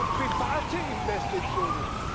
Ja, wir brauchen private Investitionen.